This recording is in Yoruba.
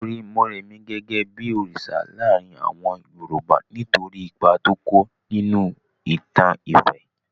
Wọ́n rí Morèmi gẹ́gẹ́ bí òrìsà láàrin àwọn Yorùbá nítorí ipa tó kó nínú ìtàn ifẹ̀.